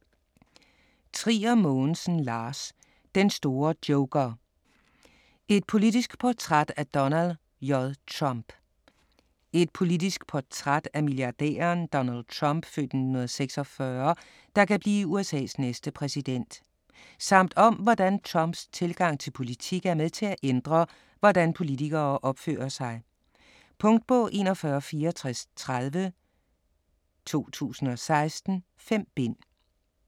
Trier Mogensen, Lars: Den store joker: et politisk portræt af Donald J. Trump Et politisk portræt af milliardæren Donald Trump (f. 1946), der kan blive USA's næste præsident. Samt om hvordan Trumps tilgang til politik er med til at ændre, hvordan politikere opfører sig. Punktbog 416430 2016. 5 bind.